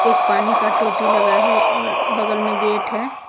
एक पानी का टोटी लगा है और बगल में गेट है।